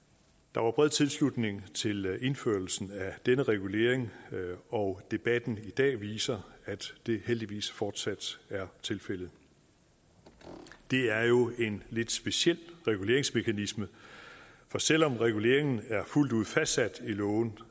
der var bred tilslutning til indførelsen af denne regulering og debatten i dag viser at det heldigvis fortsat er tilfældet det er jo en lidt speciel reguleringsmekanisme for selv om reguleringen er fuldt ud fastsat i loven